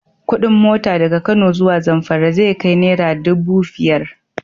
Kuɗin mota daga Kano zuwa Zamfara zai kai naira dubu fiyar.